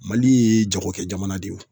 Mali ye jagokɛ jamana de ye